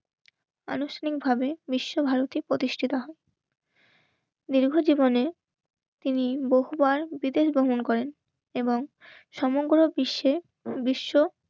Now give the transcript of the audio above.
আনুষ্ঠানিকভাবে বিশ্বভারতী প্রতিষ্ঠিত হয়. দীর্ঘ জীবনে তিনি বহুবার বিদেশ ভ্রমণ করেন. এবং সমগ্র বিশ্বে বিশ্ব